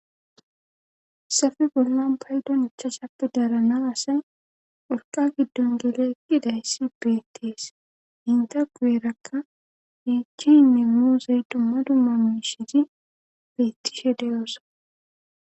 safe bollan baydon echashappe dranDa asay urqa giddon gele eqqidayssi beettees hinta gueerakka miichinne moozey dumma dumma miishiti beettishe deyosa.